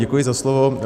Děkuji za slovo.